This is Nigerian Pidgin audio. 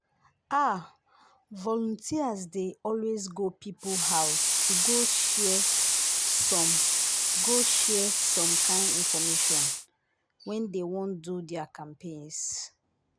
ah! volunteers dey always go people house to go share some go share some kind infomation when dey wan do their campaigns.